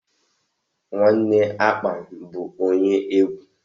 Nwanne Akpan bụ onye egwu.